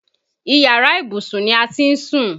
Iyàrá ìbùsùn ni a ti ń sùn